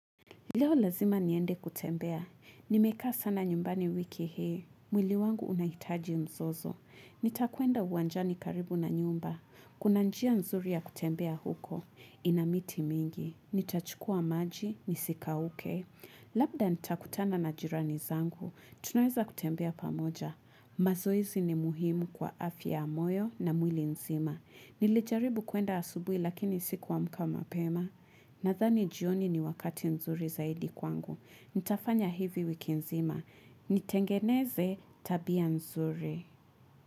Leo lazima niende kutembea. Nimekaa sana nyumbani wiki hi. Mwili wangu unahitaji mzozo. Nitakuenda uwanjani karibu na nyumba. Kuna njia nzuri ya kutembea huko. Inamiti mingi. Nitachukua maji. Nisi kauke. Labda nitakutana na jirani zangu. Tunaweza kutembea pamoja. Mazoezi ni muhimu kwa afya ya moyo na mwili nzima. Nilijaribu kuenda asubui lakini siku amka mapema. Nadhani jioni ni wakati nzuri zaidi kwangu. Nitafanya hivi wiki nzima. Nitengeneze tabia nzuri.